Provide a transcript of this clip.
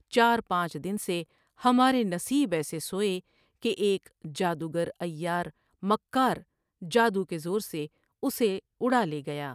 چار پانچ دن سے ہمارے نصیب ایسےسوۓ کہ ایک جادوگر عیار مکار جادو کے زور سے اسے اڑالے گیا ۔